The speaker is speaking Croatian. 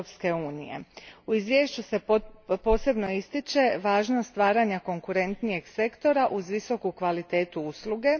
U izvješću se posebno ističe važnost stvaranja konkurentnijeg sektora uz visoku kvalitetu usluge.